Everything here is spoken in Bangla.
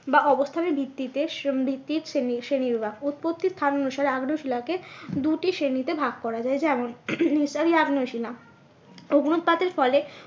বা অবস্থানের ভিত্তিতে ভিত্তির শ্রেণী, শ্রেণী বিভাগ। উৎপত্তি স্থান অনুসারে আগ্নেয় শিলাকে দুটি শ্রেণীতে ভাগ করা যায় যেমন নিঃসারী আগ্নেয় শিলা, অগ্নুৎপাতের অগ্নুৎপাত এর ফলে